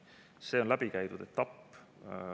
See on läbikäidud etapp.